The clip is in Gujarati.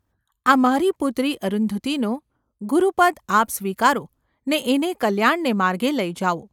આ મારી પુત્રી અરુંધતીનું ગુરુપદ આપ સ્વીકારો ને એને કલ્યાણને માર્ગે લઈ જાઓ.